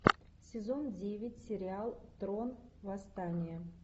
сезон девять сериал трон восстание